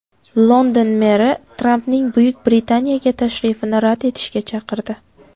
London meri Trampning Buyuk Britaniyaga tashrifini rad etishga chaqirdi.